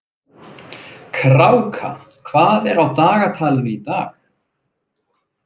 Kráka, hvað er á dagatalinu í dag?